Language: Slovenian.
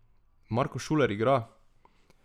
Marko Šuler igra!